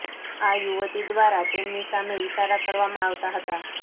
આ યુવતી દ્વારા તેમની સામે ઇશારા કરવામાં આવતા હતા